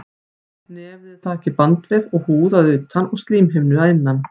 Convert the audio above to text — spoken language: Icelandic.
Nefið er þakið bandvef og húð að utan og slímhimnu að innan.